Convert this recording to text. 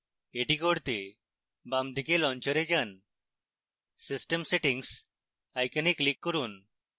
এটি করতে বামদিকে launcher যান